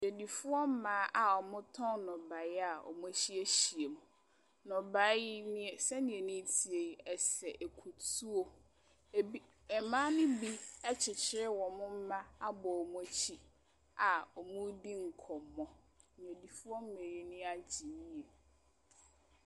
Adwadifoɔ mmaa a wɔtɔn nnɔbaeɛ a wɔahyiahyia mu. Nnɔbaeɛ yi, neɛ sɛdeɛ ani teɛ yi, ɛsɛ akutuo. Ɛbi mmaa no bi akyekyere wɔn mma abɔ wɔn akyi a wɔredi nkɔmmɔ. Adwadifoɔ mmaa yi ani agyɛ yie.